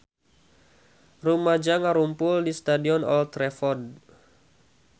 Rumaja ngarumpul di Stadion Old Trafford